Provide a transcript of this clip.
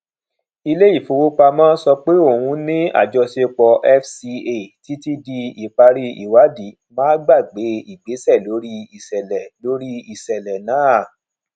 ilé ìfowópamọ sọ pé òun ní àjọṣepọ fca títí di ìparí ìwádì má gbàgbé ìgbésẹ lórí iṣẹlẹ lórí iṣẹlẹ náà